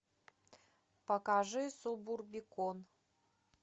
покажи субурбикон